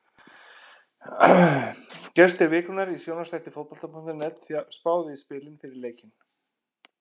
Gestir vikunnar í sjónvarpsþætti Fótbolta.net spáðu í spilin fyrir leikinn.